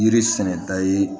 Yiri sɛnɛda ye